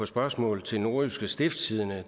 spørgsmål til nordjyske stiftstidende